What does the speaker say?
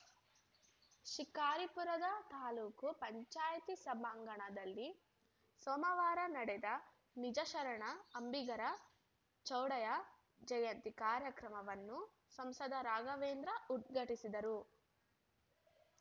ಶಿಕಾರಿಪುರದ ತಾಲೂಕು ಪಂಚಾಯಿತಿ ಸಭಾಂಗಣದಲ್ಲಿ ಸೋಮವಾರ ನಡೆದ ನಿಜಶರಣ ಅಂಬಿಗರ ಚೌಡಯ್ಯ ಜಯಂತಿ ಕಾರ್ಯಕ್ರಮವನ್ನು ಸಂಸದ ರಾಘವೇಂದ್ರ ಉದ್ಘಾಟಿಸಿದರು